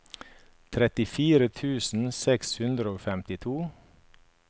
trettifire tusen seks hundre og femtito